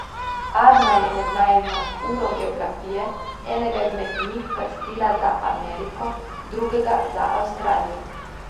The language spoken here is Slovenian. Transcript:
Arna je med najino uro geografije enega izmed njih krstila za Ameriko, drugega za Avstralijo.